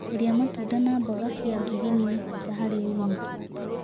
Kũrĩa matũnda na mmboga cĩz ngirini nĩ bata harĩ ũgima